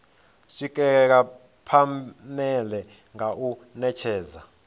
swikelela phanele nga u netshedza